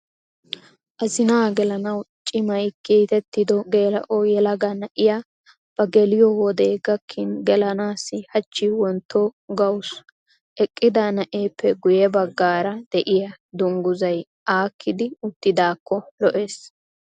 Azinaa gelanawuu cimayii kiitettido geela'o yelaga na'iyaa bageliyoo wodee gakkin gelanaassi hachchi wontto gawusu. Eqqida na'eeppe guyye baggaara de'iyaa dungguzzay aakkidi uttidaakko lo'es.